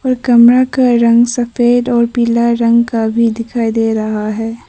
कमरा का रंग सफेद और पीला रंग का भी दिखाई दे रहा है।